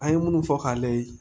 An ye minnu fɔ k'a lajɛ